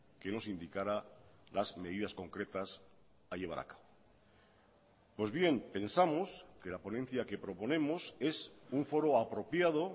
que nos indicara las medidas concretas a llevar a cabo pues bien pensamos que la ponencia que proponemos es un foro apropiado